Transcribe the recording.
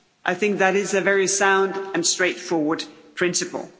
I think that is a very sound and straightforward principle.